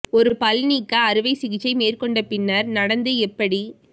ஒரு பல் நீக்க அறுவை சிகிச்சை மேற்கொண்ட பின்னர் நடந்து எப்படி